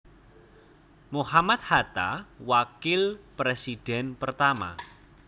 Mohammad Hatta Wakil Presiden pertama